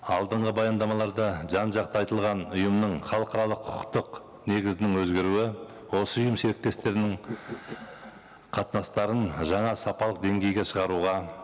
алдынғы баяндамаларда жан жақты айтылған ұйымның халықаралық құқықтық негізінің өзгеруі осы ұйым серіктестерінің қатынастарын жаңа сапалық деңгейге шығаруға